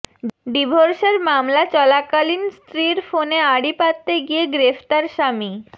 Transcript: ডিভোর্সের মামলা চলাকালীন স্ত্রীর ফোনে আড়ি পাততে গিয়ে গ্রেফতার স্বামী